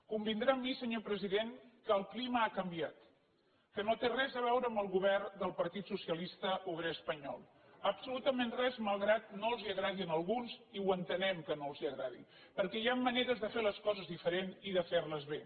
convindrà amb mi senyor president que el clima ha canviat que no té res a veure amb el govern del partit socialista obrer espanyol absolutament res malgrat que no els agradi a alguns i ho entenem que no els agradi perquè hi han maneres de fer les coses diferents i de fer les bé